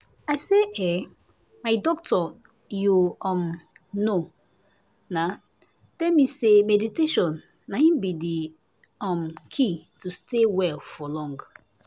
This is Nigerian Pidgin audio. i say eeh my doctor you um know na tell me say meditation na in be the um key to take stay well for long